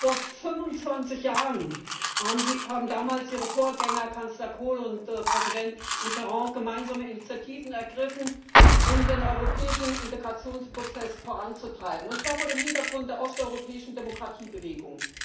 Vor 25 Jahren haben damals Ihre Vorgänger Kanzler Kohl und Präsident Mitterrand gemeinsame Initiativen ergriffen, um den europäischen Integrationsprozess voranzutreiben, und zwar vor dem Hintergrund der osteuropäischen Demokratiebewegung.